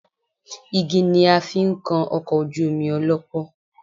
Igi ni a fi ń kan ọkọ̀ ojú omi ọlọ́pọ́